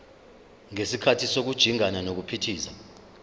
ngesikhathi sokujingana nokuphithiza